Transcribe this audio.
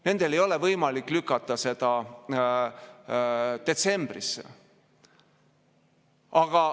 Nendel ei ole võimalik lükata seda detsembrisse.